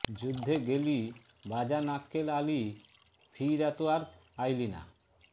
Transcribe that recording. যুদ্ধে গেলি বাজান আক্কেল আলী ফিইরা তো আর আইলিনা